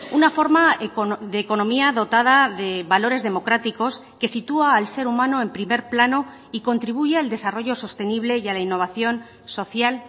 una forma de economía dotada de valores democráticos que sitúa al ser humano en primer plano y contribuye al desarrollo sostenible y a la innovación social